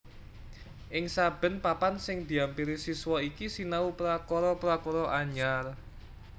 Ing saben papan sing diampiri siswa iki sinau prakara prakara anyar